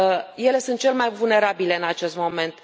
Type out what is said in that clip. Acestea sunt cele mai vulnerabile în acest moment.